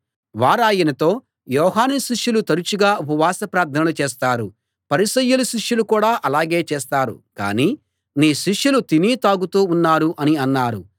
వారాయనతో యోహాను శిష్యులు తరచుగా ఉపవాస ప్రార్థనలు చేస్తారు పరిసయ్యుల శిష్యులు కూడా అలాగే చేస్తారు కానీ నీ శిష్యులు తిని తాగుతూ ఉన్నారు అని అన్నారు